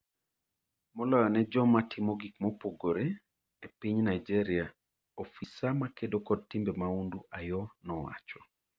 moloyo ne joma timo gik mopogore e piny Naijeria",ofisa makedo kod timbe maundu Ayoo nowacho.